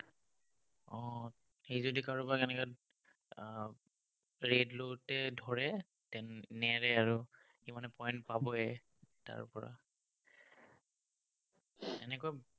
উম সি যদি কাৰোবাক এনেকে আহ raid লওঁতে ধৰে, নেৰে আৰু। সি মানে point পাবই, তাৰ পৰা এনেকুৱা